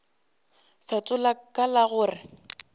fetola ka la go re